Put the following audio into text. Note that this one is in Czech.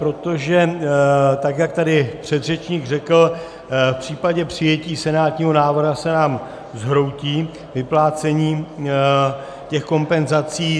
Protože tak jak tady předřečník řekl, v případě přijetí senátního návrhu se nám zhroutí vyplácení těch kompenzací.